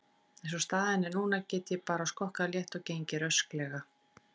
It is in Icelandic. Eins og staðan er núna get ég bara skokkað létt og gengið rösklega.